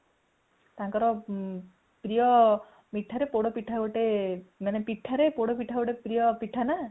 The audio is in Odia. ତାଙ୍କର ପ୍ରିୟ ମିଠା ରେ ପୋଡ ପିଠା ମାନେ ପ୍ରିୟା ପିଠା ନା